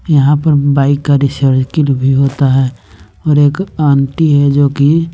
यहां पर बाइक का रिसरकिल भी होता है और एक आंटी है जो की--